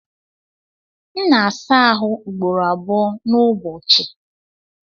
M na-asa ahụ ugboro abụọ n'ụbọchị.